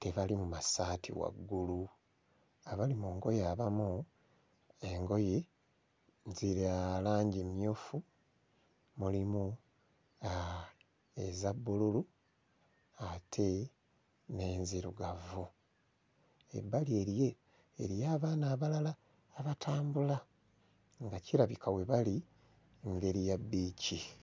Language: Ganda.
tebali mu massaati waggulu, abali mu ngoye abamu engoye za langi emmyufu, mulimu aah eza bbululu ate n'enzirugavu. Ebbali eriyo eriyo abaana abalala abatambula nga kirabika we bali ngeri ya bbiici.